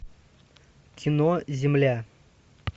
кино земля